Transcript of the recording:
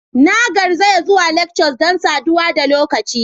Na garzaya zuwa lectures don saduwa da lokaci.